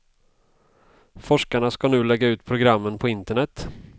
Forskarna ska nu lägga ut programen på internet.